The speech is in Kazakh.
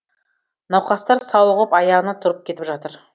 науқастар сауығып аяғына тұрып кетіп жатыр